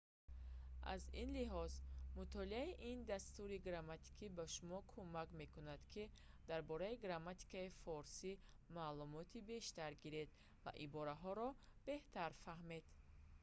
аз ин лиҳоз мутолиаи ин дастури грамматикӣ ба шумо кӯмак мекунад ки дар бораи грамматикаи форсӣ маълумоти бештар гиред ва ибораҳоро беҳтар фаҳмед